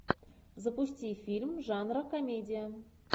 запусти фильм жанра комедия